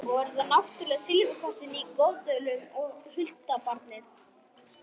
Svo er það náttúrlega silfurkrossinn í Goðdölum og huldubarnið.